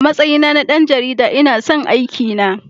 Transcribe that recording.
A matsayi na na ɗan jarida, ina son aikina.